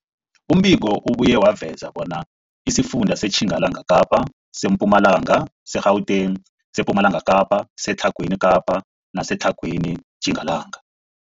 Umbiko ubuye waveza bona isifunda seTjingalanga Kapa, seMpumalanga, seGauteng, sePumalanga Kapa, seTlhagwini Kapa neseTlhagwini Tjingalanga.